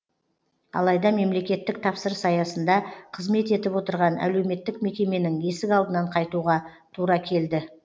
алайда мемлекеттік тапсырыс аясында қызмет етіп отырған әлеуметтік мекеменің есік алдынан қайтуға тура келді